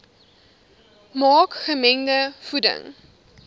maak gemengde voeding